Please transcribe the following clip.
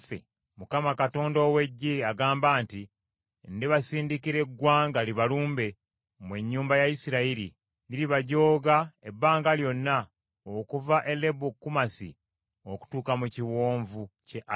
Mukama Katonda ow’Eggye agamba nti, “Ndibasindikira eggwanga libalumbe, mmwe ennyumba ya Isirayiri; liribajooga ebbanga lyonna okuva e Lebo Kamasi okutuuka mu kiwonvu kye Alaba.”